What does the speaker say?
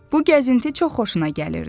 Bu gəzinti çox xoşuna gəlirdi.